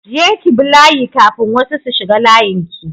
Je ki bi layi kafin wasu su shiga layin ki!